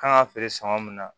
Kan ka feere san mun na